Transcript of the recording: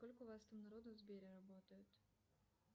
сколько у вас там народу в сбере работает